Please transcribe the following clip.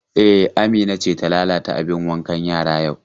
E, Amina ce ta lalata abin wanka yara yau.